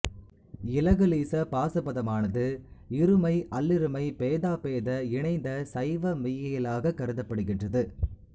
இலகுலீச பாசுபதமானது இருமை அல்லிருமை பேதாபேத இணைந்த சைவ மெய்யியலாகக் கருதப்படுகின்றது